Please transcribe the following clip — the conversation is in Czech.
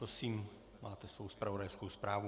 Prosím, máte svoji zpravodajskou zprávu.